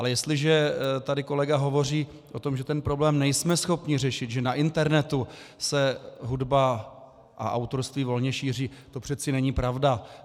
Ale jestliže tady kolega hovoří o tom, že ten problém nejsme schopni řešit, že na internetu se hudba a autorství volně šíří, to přece není pravda.